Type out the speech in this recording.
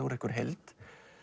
heild